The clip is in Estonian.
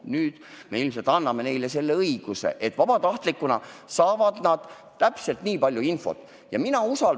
Nüüd me ilmselt anname neile selle õiguse, et vabatahtlikuna saavad nad täpselt nii palju infot, kui on vaja.